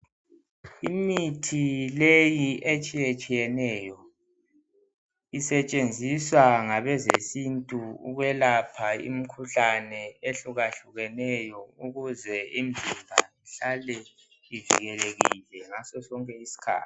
Imithi leyi etshiye tshiyeneyo isetshenziswa ngabeze sintu ukwelapha imikhuhlane ehluka hlukeneyo ukuze imizimba ihlale ivikelelekile ngaso sonke isikhathi.